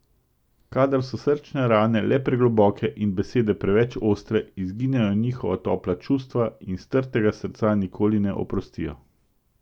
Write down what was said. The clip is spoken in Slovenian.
Kadar so srčne rane le pregloboke in besede preveč ostre, izginejo njihova topla čustva in strtega srca nikoli ne oprostijo.